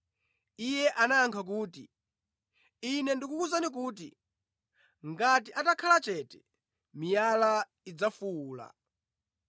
Iye anayankha kuti, “Ine ndikukuwuzani kuti, ngati atakhala chete, miyala idzafuwula.”